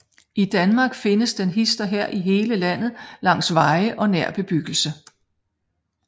I Danmark findes den hist og her i hele landet langs veje og nær bebyggelse